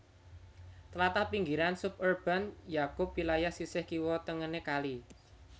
Tlatah pinggiran suburban nyakup wilayah sisih kiwa tengené kali